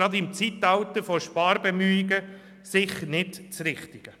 Gerade im Zeitalter von Sparbemühungen ist dies sicher nicht das Richtige.